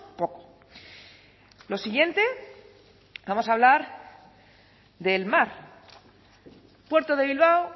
poco lo siguiente vamos a hablar del mar puerto de bilbao